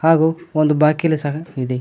ಹಾಗು ಒಂದು ಬಾಕಿಲು ಸಹ ಇದೆ.